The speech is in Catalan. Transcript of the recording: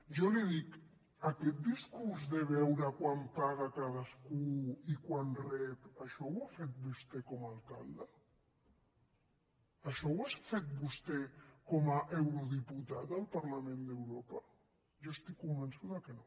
jo li dic aquest discurs de veure quant paga cadascú i quant rep això ho ha fet vostè com a alcalde això ho ha fet vostè com a eurodiputat al parlament d’europa jo estic convençuda que no